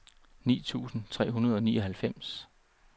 ni tusind tre hundrede og nioghalvfems